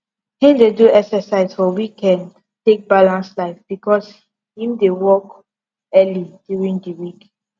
him dey do exercise for weekend take balance life becos him dey work early during d week